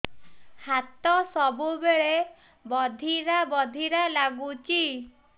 ହାତ ସବୁବେଳେ ବଧିରା ବଧିରା ଲାଗୁଚି